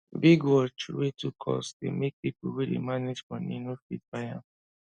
big watch wey too cost dey make people wey dey manage money no fit buy am